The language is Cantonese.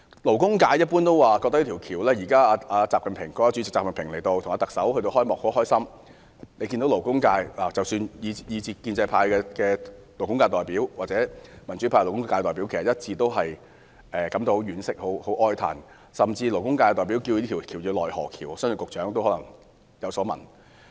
勞工界一般的感覺是：現在國家主席習近平和特首主持這條大橋的開幕儀式，當然很高興，但勞工界均一致對工人的傷亡感到哀傷，勞工界代表甚至稱這條大橋為"奈何橋"，相信局長亦有所聞。